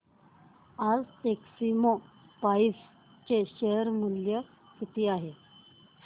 आज टेक्स्मोपाइप्स चे शेअर मूल्य किती आहे